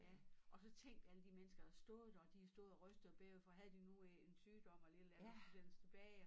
Ja og så tænk alle de mennesker der stod der og de har stået og rystet og bævet for havde de nu en sygdom eller et eller andet når de vendte tilbage og